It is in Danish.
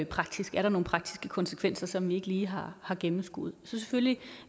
praktisk er der nogle praktiske konsekvenser som vi ikke lige har har gennemskuet så selvfølgelig